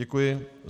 Děkuji.